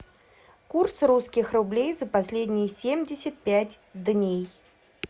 курс русских рублей за последние семьдесят пять дней